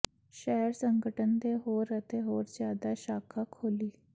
ਸ਼ਹਿਰ ਸੰਗਠਨ ਦੇ ਹੋਰ ਅਤੇ ਹੋਰ ਜਿਆਦਾ ਸ਼ਾਖਾ ਖੋਲ੍ਹੀ